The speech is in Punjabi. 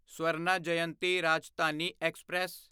ਸਵਰਨਾ ਜਯੰਤੀ ਰਾਜਧਾਨੀ ਐਕਸਪ੍ਰੈਸ